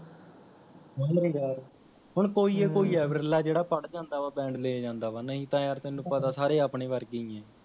ਹੁਣ ਕੋਈ ਈ ਕੋਈ ਐ ਬਿਰਲਾ ਜੇਹੜਾ ਪੜ ਜਾਂਦਾ ਵਾਂ Band ਲੈ ਜਾਂਦਾ ਨਹੀਂ ਤਾਂ ਯਾਰ ਤੈਨੂੰ ਪਤਾ ਸਾਰੇ ਆਪਣੇ ਵਰਗੇ ਹੀ ਹੈ